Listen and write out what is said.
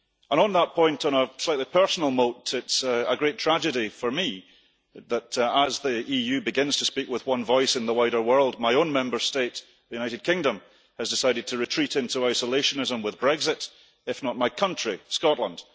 On that point, on a slightly personal note, it's a great tragedy for me, that as the EU begins to speak with one voice in the wider world, my own Member State, the United Kingdom, has decided to retreat into isolationism with Brexit, if not my country, Scotland.